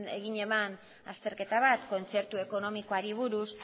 zuen azterketa bat kontzertu ekonomikoari buruz